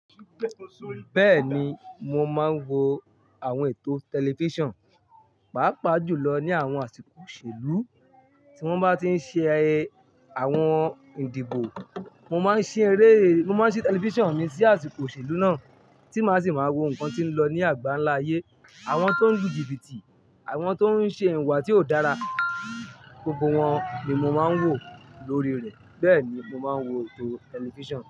Bẹ́ẹ̀ni, mo máa ń wo àwọn ètò tẹlifíṣàn, pàápàá jùlọ ní àwọn àsìkò òṣèlú, tí wọ́n bá tí ń ṣe àwọn ìdìbò, mo máa ń ṣí eré, mo máa ń ṣí tẹlifíṣàn mi sí àsìkò òṣèlú náà tí màá sì máa wo nǹkan tí ń lọ ní àgbáńlá ayé, àwọn tó ń lùjíbìtì, àwọn tó ń ṣe ìwà tí ò dára, gbogbo wọn ni mo máa ń wò lórí rẹ̀. Bẹ́ẹ̀ni, mo máa ń wo ètò tẹlifíṣàn.